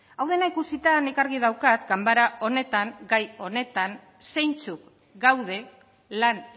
hau dena ikusita nik argi daukat ganbara honetan gai honetan zeintzuk gaude lan